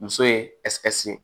Muso ye ye